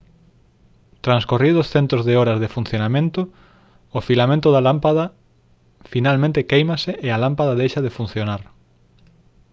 transcorridos centos de horas de funcionamento o filamento da lámpada finalmente quéimase e a lámpada deixa de funcionar